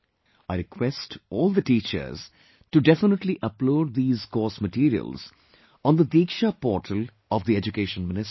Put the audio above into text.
I request all the teachers to definitely upload these course materials on the Diksha Portal of the Education Ministry